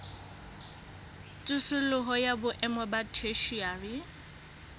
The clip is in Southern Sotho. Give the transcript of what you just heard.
tsosoloso ya boemo ba theshiari